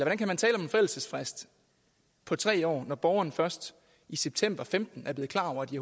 forældelsesfrist på tre år når borgerne først i september femten er blevet klar over at de